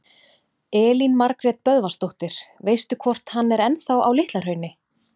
Elín Margrét Böðvarsdóttir: Veistu hvort hann er ennþá á Litla-Hrauni?